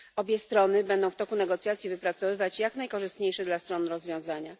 Obie strony będą w toku negocjacji wypracowywać jak najkorzystniejsze dla stron rozwiązania.